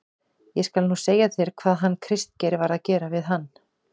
ÉG SKAL NÚ SEGJA ÞÉR HVAÐ HANN KRISTGEIR VAR AÐ GERA VIÐ HANN.